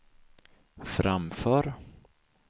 framför